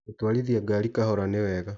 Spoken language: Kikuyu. Gũtwarithia ngari kahora nĩ wega.